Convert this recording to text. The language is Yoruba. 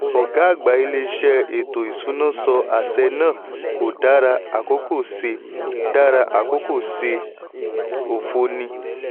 ọ̀gá àgbà ilé ìṣe ètò ìsúná sọ àṣẹ náà kò dára àkókò ṣe dára àkókò ṣe òfo ni.